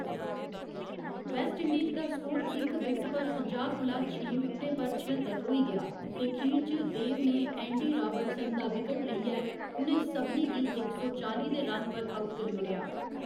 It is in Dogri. वेस्टइंडीज दा स्कोर इक विकेट पर पंजाह्‌ कोला छें विकटें पर छअत्तर होई गेआ ते खीर च देव ने एंडी राबर्ट्स दा विकट लेइयै उ'नें सभनें गी इक सौ चाली दे रन पर आउट करी ओड़ेआ।